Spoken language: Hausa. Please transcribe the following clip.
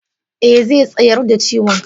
e, zai tsayar da ciwon.